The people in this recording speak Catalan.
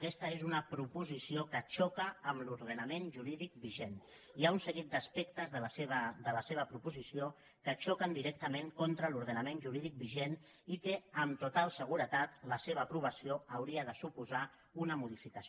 aquesta és una proposició que xoca amb l’ordenament jurídic vigent hi ha un seguit d’aspectes de la seva proposició que xoquen directament contra l’ordenament jurídic vigent i que amb total seguretat la seva aprovació hauria de suposar ne una modificació